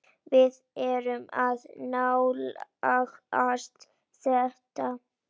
Við erum að nálgast það.